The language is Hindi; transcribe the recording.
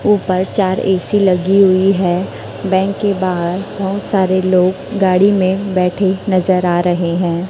ऊपर चार ए_सी लगी हुई है बैंक के बाहर बहुत सारे लोग गाड़ी में बैठे नजर आ रहे हैं।